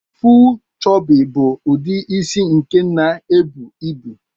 Full choopy bu udi isi nke na ebu ibu.